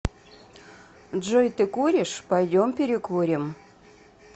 джой ты куришь пойдем перекурим